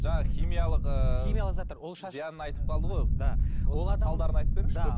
жаңа химиялық ыыы химиялық заттар зиянын айтып қалды ғой да салдарын айтып беріңізші